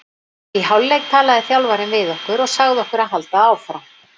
Í hálfleik talaði þjálfarinn við okkur og sagði okkur að halda áfram.